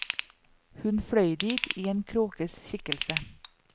Hun fløy dit i en kråkes skikkelse.